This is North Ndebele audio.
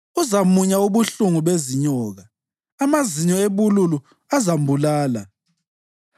Uzamunya ubuhlungu bezinyoka; amazinyo ebululu azambulala.